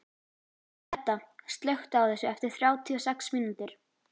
Edda, slökktu á þessu eftir þrjátíu og sex mínútur.